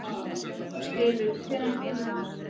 Ylur, hvenær kemur ásinn?